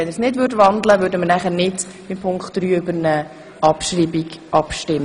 Wenn der Motionär nicht wandelt, werden wir bei Punkt 3 nicht über eine Abschreibung abstimmen.